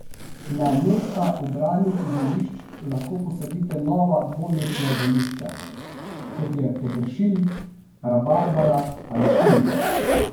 Na mesta ubranih zelišč lahko posadite nova dvoletna zelišča, kot je peteršilj, rabarbara ali kumina.